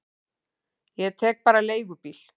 Ég tek bara leigubíl.